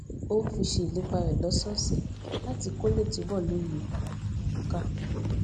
ó fi ṣe ìlépa rè lósòòsè láti kó lè túbò lóye ohun tó ń kà